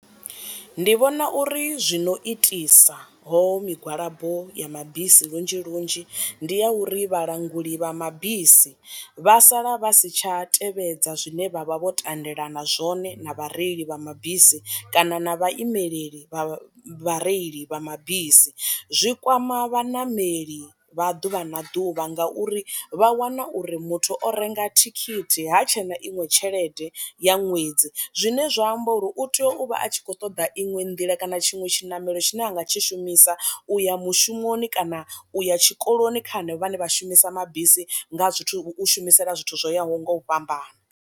Ndi vhona uri zwino itisa ho migwalabo ya mabisi lunzhi lunzhi ndi ya uri vhalanguli vha mabisi vha sala vha si tsha tevhedza zwine vha vha vho tendelana zwone na vhareili vha mabisi kana na vhaimeleli vha vhareili vha mabisi. Zwi kwama vhaṋameli vha ḓuvha na ḓuvha nga uri vha wana uri muthu o renga thikhithi ha tshe na iṅwe tshelede ya ṅwedzi, zwine zwa amba uri uri u tea u vha a tshi kho ṱoḓa iṅwe nḓila kana tshiṅwe tshiṋamelo tshine a nga tshi shumisa u ya mushumoni kana u ya tshikoloni kha hanevho vhane vha shumisa mabisi nga zwithu shumisela zwithu zwo yaho nga u fhambana.